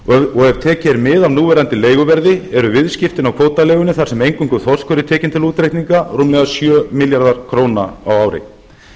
og ef tekið er mið af núverandi leiguverði eru viðskiptin af kvótaleigunni þar sem eingöngu þorskur er tekinn til útreikninga rúmlega sjö milljarðar króna á ári